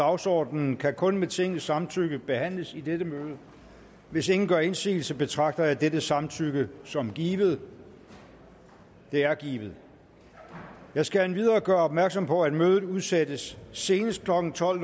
dagsordenen kan kun med tingets samtykke behandles i dette møde hvis ingen gør indsigelse betragter jeg dette samtykke som givet det er givet jeg skal endvidere gøre opmærksom på at mødet udsættes senest klokken tolv